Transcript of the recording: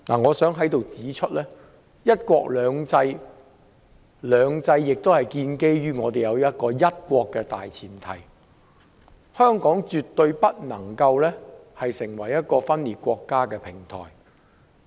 我想指出，"一國兩制"的"兩制"是建基於"一國"的大前提，香港絕對不能成為一個分裂國家的平台。